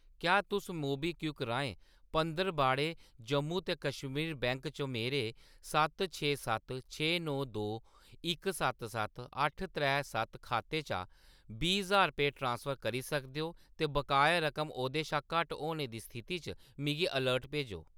क्या तुस मोबीक्विक राहें पंदरबाड़े जम्मू ते कश्मीर बैंक च मेरे सत्त छे सत्त छे नौ दो इक सत्त सत्त अट्ठ त्रै सत्त खाते च बीह् ज्हार रपेऽ ट्रांसफर करी सकदे ओ ते बकाया रकम ओह्दे शा घट्ट होने दी स्थिति च मिगी अलर्ट भेजो?